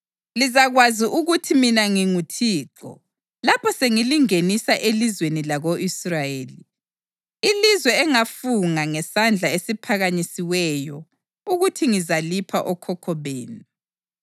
Lizakwazi ukuthi mina nginguThixo lapho sengilingenisa elizweni lako-Israyeli, ilizwe engafunga ngesandla esiphakanyisiweyo ukuthi ngizalipha okhokho benu.